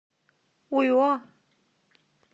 уйо